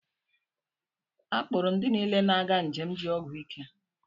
A kpụụrụ ndị niile na-aga njem ji ọgwụ ike.